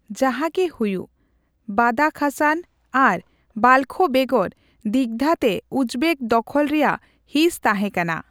ᱡᱟᱦᱟᱸᱜᱮ ᱦᱩᱭᱩᱜ, ᱵᱟᱫᱟᱠᱷᱥᱟᱱ ᱟᱨ ᱵᱟᱞᱠᱷ ᱵᱮᱜᱚᱨ ᱫᱤᱜᱫᱷᱟᱹ ᱛᱮ ᱩᱡᱵᱮᱠ ᱫᱚᱠᱷᱚᱞ ᱨᱮᱭᱟᱜ ᱦᱤᱸᱥ ᱛᱟᱦᱮᱸ ᱠᱟᱱᱟ ᱾